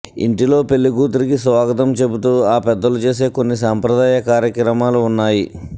ఇంటిలో పెళ్లికూతురికి స్వాగతం చెబుతూ ఆ పెద్దలు చేసే కొన్ని సంప్రదాయ కార్యక్రమాలు ఉన్నాయి